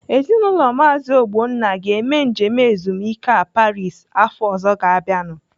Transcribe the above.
Ezinaụlọ Maazi Ogbonna ga-eme njem ezumike a Paris afọ ọzọ ga-abịanu.